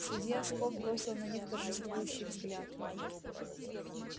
судья скоп бросил на них торжествующий взгляд